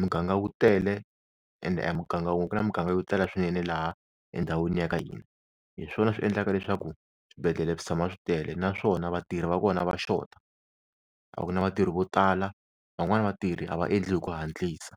muganga wu tele ende a hi muganga wun'we ku na muganga yo tala swinene laha endhawini ya ka hina, hi swona swi endlaka leswaku swibedhlele swi tshama swi tele naswona vatirhi va kona va xota, a ku na vatirhi vo tala van'wani vatirhi a va endli hi ku hatlisa.